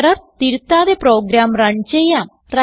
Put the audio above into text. error തിരുത്താതെ program run ചെയ്യാം